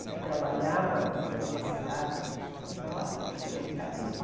Eu trabalhava numa cidade aqui próxima que chama Itapevi.